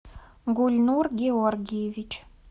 гульнур георгиевич